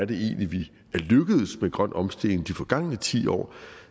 vi egentlig er lykkedes med grøn omstilling de forgangne ti år